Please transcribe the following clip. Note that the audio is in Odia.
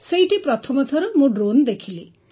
ସେଇଠି ପ୍ରଥମ ଥର ମୁଁ ଡ୍ରୋନ୍ ଦେଖିଲି